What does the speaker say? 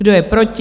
Kdo je proti?